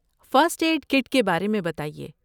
First aid kit کے بارے میں بتائیے؟